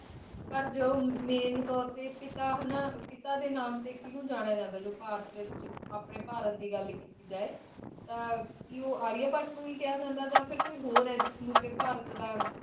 ਪਰ ਮੇਨ ਤੋਰ ਤੇ ਕਿੱਤਾ ਕਿੱਤਾ ਦੇ ਨਾਮ ਕੀਨੁ ਜਣਾਯਾ ਜਾਂਦਾ ਹੈ ਆਪਣੇ ਭਾਰਤ ਦੀ ਗੱਲ ਕਿੱਤੀ ਜਾਇ- ਤੇ ਉਹ ਆਰੀਆ ਭੱਟ ਹੈ ਹੈ ਆ ਕੋਈ ਹੋਰ ਵੀ ਹੈ ਜਿਨ੍ਹਾਂ ਕ